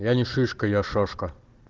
я не шишка я шашка